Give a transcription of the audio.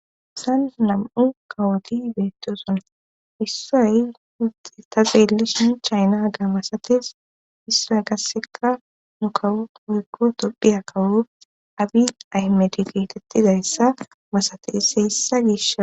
San nam'u kawoti beettoson issoy hudde ta beellishin chayna ga masates issoy gasseka nu kawu hoykko tophiya kawu abi ahmeti geetettizayssa masateys heyssa gisha.